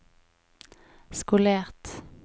skolert